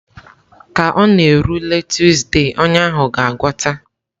Ka ọ na-erule Tuuzde, ọnya ahụ ga-agwọta.